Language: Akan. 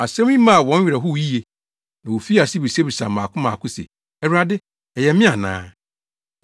Asɛm yi maa wɔn werɛ howee yiye, na wofii ase bisabisaa mmaako mmaako se, “Awurade, ɛyɛ me ana?”